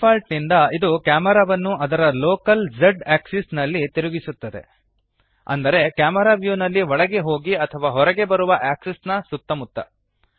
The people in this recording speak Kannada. ಡಿಫಾಲ್ಟ್ ನಿಂದ ಇದು ಕ್ಯಾಮೆರಾವನ್ನು ಅದರ ಲೋಕಲ್ z ಆಕ್ಸಿಸ್ ನಲ್ಲಿ ತಿರುಗಿಸುತ್ತದೆ ಅಂದರೆ ಕ್ಯಾಮೆರಾ ವ್ಯೂನಲ್ಲಿ ಒಳಗೆ ಹೋಗಿ ಅಥವಾ ಹೊರಗೆ ಬರುವ ಆಕ್ಸಿಸ್ ನ ಸುತ್ತಮುತ್ತ